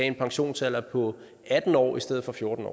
en pensionsalder på atten år i stedet for fjorten